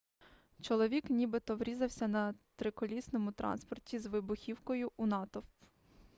чоловік нібито врізався на триколісному транспорті з вибухівкою у натовп